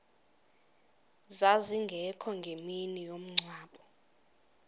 zazingekho ngemini yomngcwabo